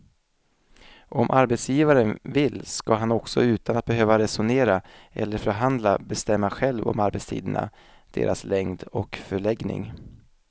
Om arbetsgivaren vill ska han också utan att behöva resonera eller förhandla bestämma själv om arbetstiderna, deras längd och förläggning.